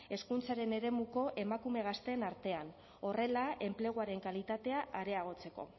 hezkuntzaren eremuko emakume gazteen artean horrela enpleguaren kalitatea areagotzeko